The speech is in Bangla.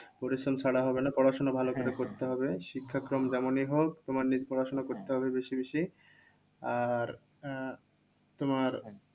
পরিশ্রম ছাড়া হবে না। পড়াশোনা ভালো করে করতে হবে। শিক্ষাক্রম যেমনই হোক তোমাকে নিজে পড়াশোনা করতে হবে বেশি বেশি। আর আহ তোমার